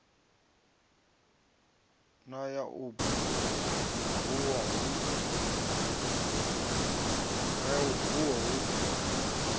na ya u bua hu